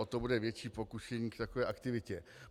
O to bude větší pokušení k takové aktivitě.